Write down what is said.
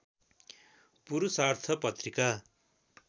पुरूषार्थ पत्रिका